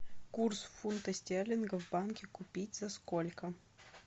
курс фунта стерлинга в банке купить за сколько